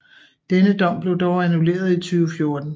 Denne dom blev dog annulleret i 2014